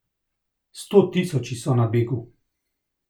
Sto tisoči so na begu.